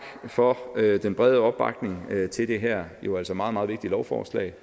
for den brede opbakning til det her jo altså meget meget vigtige lovforslag